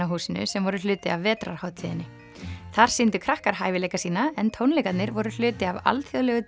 húsinu sem voru hluti af vetrarhátíðinni þar sýndu krakkar hæfileika sína en tónleikarnir voru hluti af alþjóðlegu